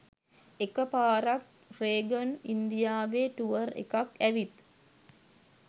එක පාරක් රේගන් ඉන්දියාවෙ ටුවර් එකක් ඇවිත්